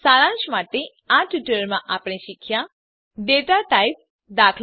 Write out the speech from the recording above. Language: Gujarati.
સારાંશમાં આ ટ્યુટોરીયલમાં આપણે શીખ્યાં ડેટા ટાઇપ દા